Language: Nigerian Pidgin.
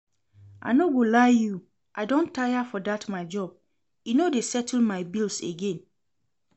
I no go lie you, I don tire for dat my job, e no dey settle my bills again